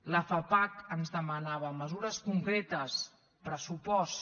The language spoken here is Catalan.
la fapac ens demanava mesures concretes pressupost